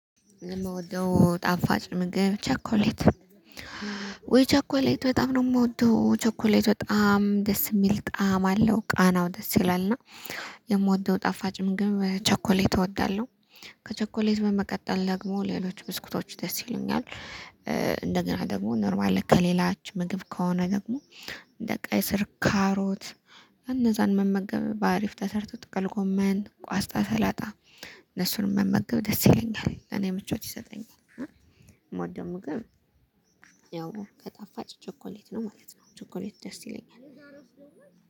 የምወደው ጣፋጭ ምግብ ቸኮሌት ወይ ቸኮሌት በጣም ነው የምወደው ቸኮሌት በጣም ደስ የሚል ጣዕም አለው ቃናው ደስ ይላል እና የምወደው ጣፋጭ ምግብ ቸኮሌት እወዳለሁ። ከቸኮሌት በመቀጠል ደግሞ ሌሎች ብስኩቶች ደስ ይሉኛል። እንደገና ደግሞ ኖርማል ከሌላችሁ ምግብ ከሆነ ደግሞ እንደ ቀይ ስር ካሮት። እነዛን መመገብ በአሪፍ ተሰርቶ ጥቅል ጎመን ቋስጣ ሰላጣ። እነሱንም መመገብ ደስ ይለኛል ለኔ ምቾት ይሰጠኛል ማደሙ ግን ያው ከጣፋጭ ቸኮሌት ነው ማለት ነው። ቸኮሌት ደስ ይለኛል